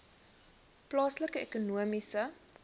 plaaslike ekonomiese